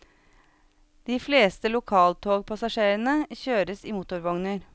De fleste lokaltogpassasjerene kjøres i motorvogner.